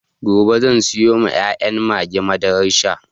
Gobe zan sayawa ƴaƴan mage madaran sha